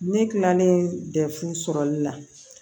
Ne kilalen dɛ fu sɔrɔli la